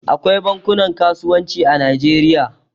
Akwai bankunan kasuwanci a Najeriya.